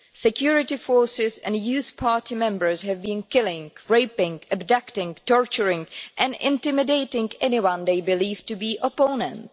Security forces and youth party members have been killing, raping, abducting, torturing and intimidating anyone they believe to be opponents.